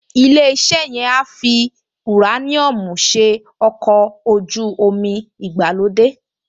Ilé-iṣẹ́ yẹn á fi ùráníọ́ọ̀mù ṣe àwọn ọkọ̀ ojú-omi ìgbàlódé